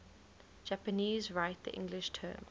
japanese write the english term